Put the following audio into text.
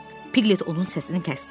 Piklet onun səsini kəsdi.